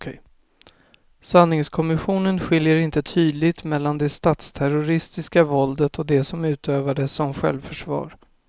Sanningskommissionen skiljer inte tydligt mellan det statsterroristiska våldet och det som utövades som självförsvar.